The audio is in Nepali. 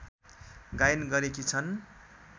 गायन गरेकी छन्